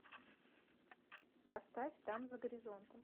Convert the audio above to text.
поставь там за горизонтом